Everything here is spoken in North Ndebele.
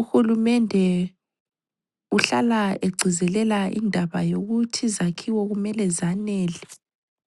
Uhulumende uhlala egcizelela indaba yokuthi izakhiwo kumele zanele.